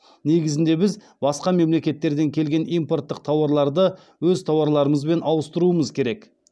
негізінде біз басқа мемлекеттерден келген импорттық тауарларды өз тауарларымызбен ауыстыруымыз керек